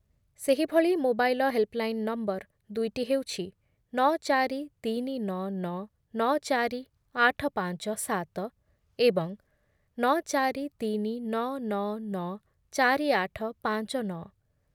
ସେହିଭଳି mobile helpline number ଦୁଇଟି ହେଉଛି ନ ଚାରି ତିନି ନଅ ଚାରି ଆଠ ପାଞ୍ଚ ସାତ ଏବଂ ନ ଚାରି ତିନି ନ ନ ନ ଚାରି ଆଠ ପାଞ୍ଚ ନ ।